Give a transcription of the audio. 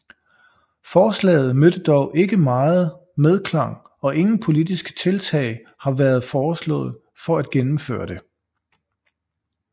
Forslaget mødte dog ikke meget medklang og ingen politiske tiltag har været foreslået for at gennemføre det